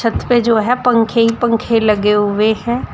पे जो है पंखे ही पंखे लगे हुए हैं।